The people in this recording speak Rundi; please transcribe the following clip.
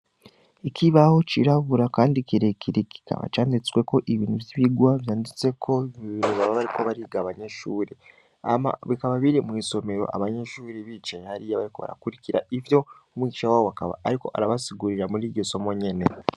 Ikibaho cirabura, kandi kirekere kikaba canditswe ko ibintu vy'ibigwa vyanditse ko iibintu bababariko bariga abanyeshuri ama bikaba biri mw'isomero abanyenshuri bicaye hariyo bariko barakurikira ivyo umwicica wawakaba, ariko arabasigurira muri igisomo nyene.